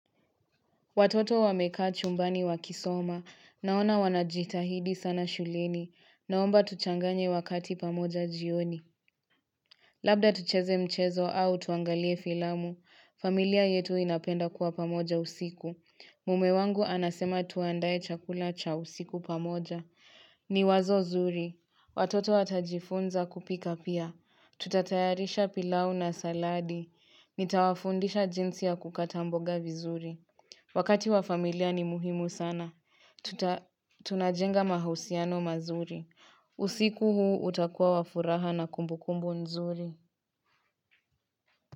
Watoto wamekaa chumbani wakisoma, naona wanajitahidi sana shuleni, naomba tuchanganye wakati pamoja jioni. Mh hh Labda tucheze mchezo au tuangalie filamu, familia yetu inapenda kuwa pamoja usiku.mhh Mume wangu anasema tuandaye chakula cha usiku pamoja. Hhh ni wazo zuri. Watoto watajifunza kupika pia. Huh Tutatayarisha pilau na saladi. Hh Nitawafundisha jinsi ya kukata mboga vizuri. Mhh ch Wakati wa familia ni muhimu sana. Hh tuta Tunajenga mahusiano mazuri. Hh u usiku huu utakuwa wafuraha na kumbu kumbu nzuri.